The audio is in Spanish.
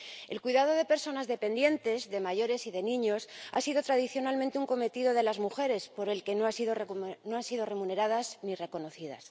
El cuidado de personas dependientes, de mayores y de niños, ha sido tradicionalmente un cometido de las mujeres por el que no han sido remuneradas ni reconocidas.